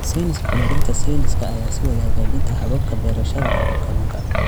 Sayniska Horumarinta Sayniska ayaa sii wada hagaajinta hababka beerashada kalluunka.